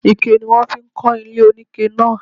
Ike ni wọ́n fi kọ́ ilé oníke náa.